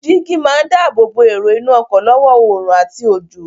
Jígí máa dáábòbò èrò inú ọkọ̀ lọ́wọ́ oòrùn àti òjò.